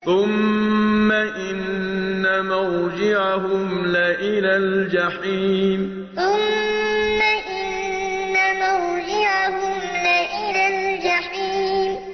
ثُمَّ إِنَّ مَرْجِعَهُمْ لَإِلَى الْجَحِيمِ ثُمَّ إِنَّ مَرْجِعَهُمْ لَإِلَى الْجَحِيمِ